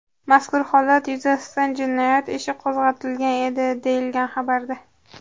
Mazkur holat yuzasidan jinoyat ishi qo‘zg‘atilgan edi”, deyilgan xabarda.